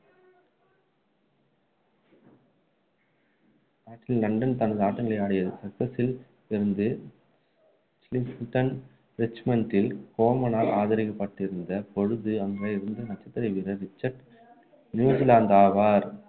London தனது ஆட்டங்களை ஆடியது. சச்செக்சில் இருந்த ச்ளிண்டன் ரிச்மண்டின் கோமானால் ஆதரிக்கப்பட்டிருந்த பொழுது அங்கு இருந்த நட்சத்திர வீரர் ரிச்சர்ட் நியூலாந்து ஆவார்